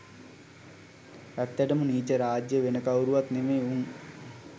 ඇත්තටම නීච රාජ්‍ය වෙන කවුරුවත් නෙවෙයි උන්.